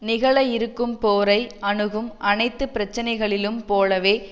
நிகழ இருக்கும் போரை அணுகும் அனைத்து பிரச்சினைகளிலும் போலவே